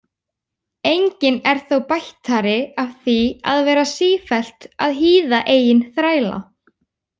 Enginn er þó bættari af því að vera sífellt að hýða eigin þræla.